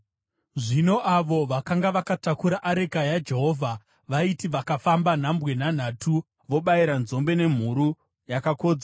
Zvino avo vakanga vakatakura areka yaJehovha vaiti vakafamba nhambwe nhanhatu, vobayira nzombe nemhuru yakakodzwa.